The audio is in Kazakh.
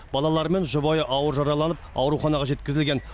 балалары мен жұбайы ауыр жараланып ауруханаға жеткізілген